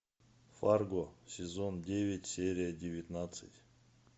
фарго сезон девять серия девятнадцать